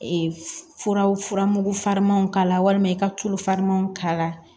furaw furamugu farinmanw k'a la walima i ka tulu farinmanw k'a la